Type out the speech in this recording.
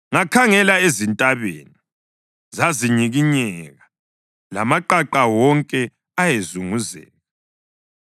Ngakhangela ezintabeni, zazinyikinyeka, lamaqaqa wonke ayezunguzeka.